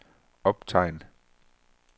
optegn